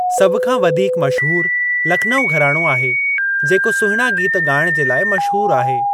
सभु खां वधीक मशहूर लखनउ घराणो आहे जेको सुहिणा गीत ॻाइण जे लाइ मशहूर आहे।